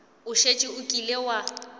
o šetše o kile wa